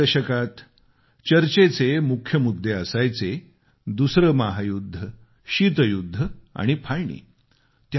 चाळीसच्या दशकात चर्चेचे मुख्य मुद्दे असायचे दुसरं महायुद्ध शीतयुध्द आणि फाळणी